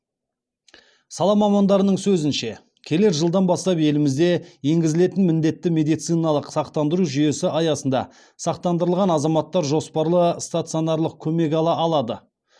сала мамандарының сөзінше келер жылдан бастап елімізде енгізілетін міндетті медициналық сақтандыру жүйесі аясында сақтандырылған азаматтар жоспарлы стационарлық көмек ала алады